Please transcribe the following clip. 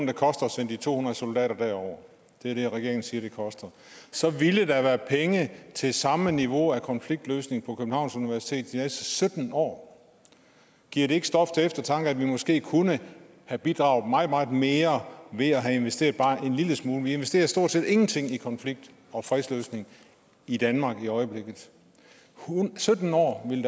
det koster at sende de to hundrede soldater derover det er det regeringen siger det koster så ville der være penge til samme niveau af konfliktløsning på københavns universitet de næste sytten år giver det ikke stof til eftertanke at vi måske kunne have bidraget meget meget mere ved at have investeret bare en lille smule mere vi investerer stort set ingenting i konflikt og fredsløsning i danmark i øjeblikket sytten år ville